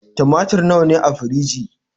Tumatir na wa ya rage a firiji?